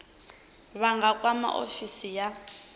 vha nga kwama ofisi ya